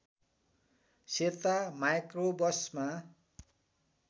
सेता माइक्रोबसमा